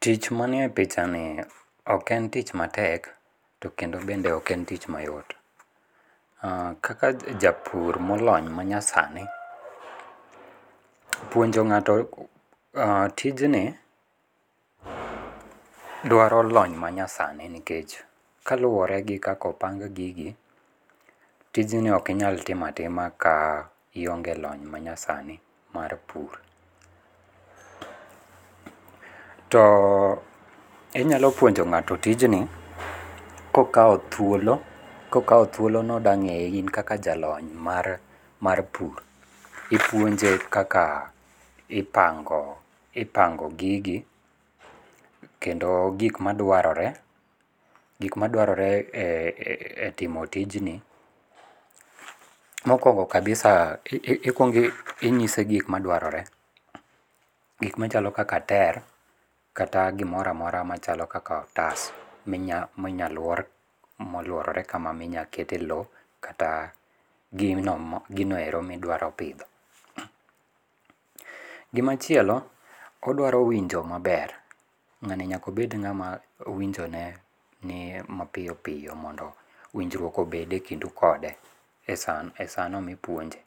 Tich manie pichani, ok en tich matek, to kendo bende ok en tich mayot. um Kaka japur molony manyasani, puonjo ngáto um tijni, dwaro lony manyasani. Nikech, kaluwore gi kaka opang gigi, tijni okinyal timo atima ka ionge lony ma nyasani mar pur. To inyalo puonjo ngáto tijni, kokao thuolo. Kokao thuolo ni odwa ngéye, in kaka jalony mar, mar pur, ipunje kaka, kaka ipango, ipango gigi kendo gik madwarore. Gik madwarore e,e,e timo tijni, mokwongo kabisa i, i kwongo inyise gik madwarore. Gik machalo kaka ter, kata gimoro amora machalo kaka otas, minya, minya lwor, molworore kama, minya kete lowo kata gino mo, gino ero midwaro pidho. Gima chielo, odwaro winjo maber, ngáni nyaka obed ngáma winjo ne ni mapiyo piyo, mondo winjruok obede kindu kode e e sano mipuonje.